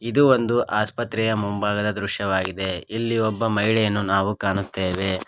ಇದು ಒಂದು ಆಸ್ಪತ್ರೆಯ ಮುಂಭಾಗದ ದೃಶವಾಗಿದೆ ಇಲ್ಲಿ ಒಬ್ಬ ಮಹಿಳೆಯನ್ನು ನಾವು ಕಾಣುತ್ತೇವೆ.